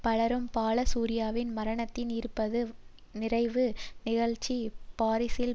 பலரும் பாலசூரியாவின் மரணத்தின் இருபது வது நிறைவு நிகழ்ச்சி பாரிசில்